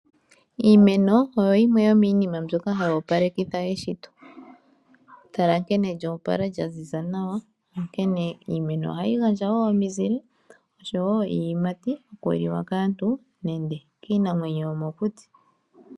Iimeno oyo yime yomiinima mbyoka hayi opalekeitha eshito, tala nkene lyopala lyaziza nawa onkene iimeno ohayi gandja omizile, osho wo iiyimati okuliwa kaantu nege kiinamwenyo yomokuti.